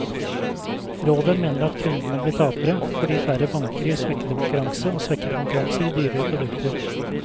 Rådet mener at kundene blir tapere, fordi færre banker gir svekket konkurranse, og svekket konkurranse gir dyrere produkter.